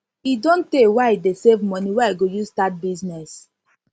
e don tey wey i dey save money wey i go use start business